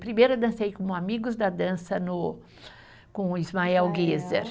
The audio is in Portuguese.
Primeiro eu dancei como Amigos da Dança no, com o Ismael Guiser.